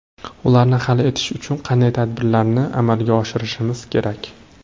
Ularni hal etish uchun qanday tadbirlarni amalga oshirishimiz kerak?